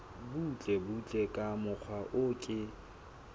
butlebutle ka mokgwa o ke